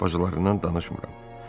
Bacılarından danışmıram.